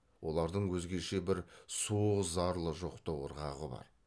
олардың өзгеше бір суық зарлы жоқтау ырғағы бар